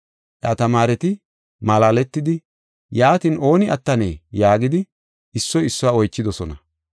Iya tamaareti malaaletidi, “Yaatin, ooni attanee?” yaagidi, issoy issuwa oychidosona.